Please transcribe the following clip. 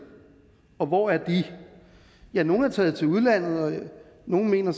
og hvor er det ja nogle er taget til udlandet nogle mener